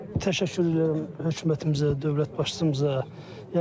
Təşəkkür edirəm hökumətimizə, dövlət başçımıza.